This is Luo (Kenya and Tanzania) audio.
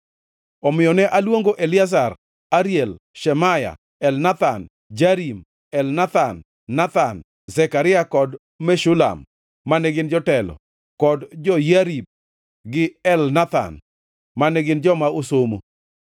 Omiyo ne aluongo Eliezer, Ariel, Shemaya, Elnathan, Jarib, Elnathan, Nathan, Zekaria kod Meshulam, mane gin jotelo, kod Joyiarib gi Elnathan, mane gin joma osomo,